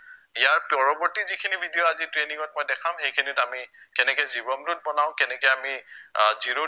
ইয়াৰ পৰৱৰ্তী যিখিনি video আজি training ত মই দেখাম সেইখিনিত আমি কেনেকে জীৱন root বনাও কেনেকে আমি আহ zero